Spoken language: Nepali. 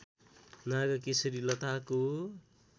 नागकेशरी लताको